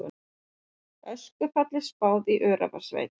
Öskufalli spáð í Öræfasveit